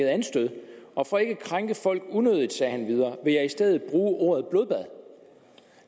anstød og for ikke at krænke folk unødigt sagde han videre jeg vil i stedet bruge ordet blodbad